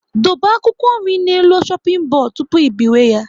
Dobe akwụkwọ nri n'elu shoping bodu tụpụ ị biwe ya